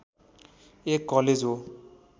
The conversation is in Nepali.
एक कलेज हो